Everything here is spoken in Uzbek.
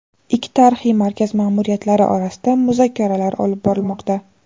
Ikki tarixiy markaz ma’muriyatlari o‘rtasida muzokaralar olib borilmoqda.